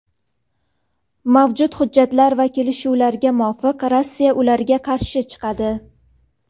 mavjud hujjatlar va kelishuvlarga muvofiq Rossiya ularga qarshi chiqadi.